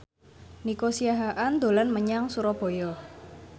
Nico Siahaan dolan menyang Surabaya